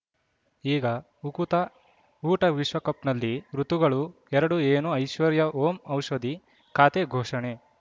ಈಗ ಉಕುತ ಊಟ ವಿಶ್ವಕಪ್‌ನಲ್ಲಿ ಋತುಗಳು ಎರಡು ಏನು ಐಶ್ವರ್ಯಾ ಓಂ ಔಷಧಿ ಖಾತೆ ಘೋಷಣೆ